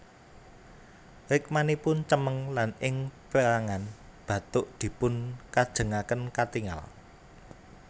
Rikmanipun cemeng lan ing perangan bathuk dipun kajengaken katingal